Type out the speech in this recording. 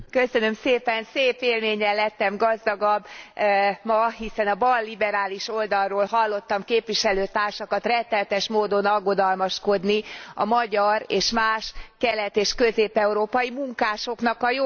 Szép élménnyel lettem gazdagabb ma, hiszen a balliberális oldalról hallottam a képviselőtársakat rettenetes módon aggodalmaskodni a magyar és más kelet és közép európai munkások jogai miatt.